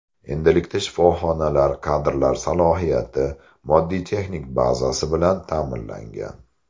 Endilikda shifoxonalar kadrlar salohiyati, moddiy texnik bazasi bilan ta’minlangan.